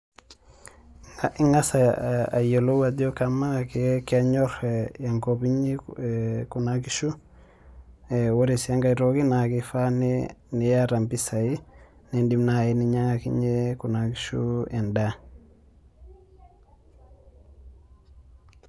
Ing'as ayiolou ajo. amaa kenyor enkop inyi Kuna kishu. ore sii enkae toki naa kifaa niyata mpisai. nidim naji ayakinye Kuna kishu edaa.